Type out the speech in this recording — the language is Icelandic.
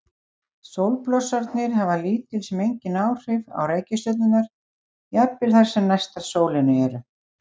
Sólblossarnir hafa lítil sem engin áhrif á reikistjörnurnar, jafnvel þær sem næstar sólinni eru.